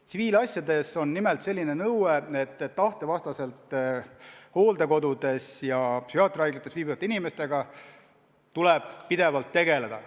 Tsiviilasjades on nimelt selline nõue, et tahte vastaselt hooldekodudes ja psühhiaatriahaiglates viibivate inimestega tuleb pidevalt tegeleda.